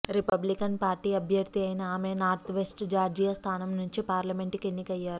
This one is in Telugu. రిపబ్లికన్ పార్టీ అభ్యర్థి అయిన ఆమె నార్త్వెస్ట్ జార్జియా స్థానం నుంచి పార్లమెంట్కు ఎన్నికయ్యారు